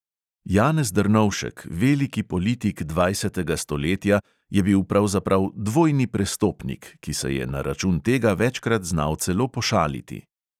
Janez drnovšek, veliki politik dvajsetega stoletja, je bil pravzaprav "dvojni prestopnik", ki se je na račun tega večkrat znal celo pošaliti.